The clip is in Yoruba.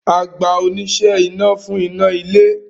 A gba oníṣẹ́ iná fún iná a ilé